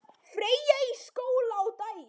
Freyja í skóla á daginn.